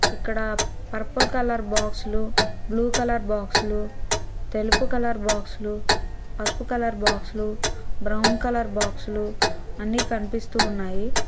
ఇక్కడ purple colour బాక్సులు blue colour బాక్సులు తెలుపు కలర్ బాక్సులు పసుపు కలర్ బాక్సులు బ్రౌన్ కలర్ బాక్సులు అన్నీ కనిపిస్తూ ఉన్నాయి.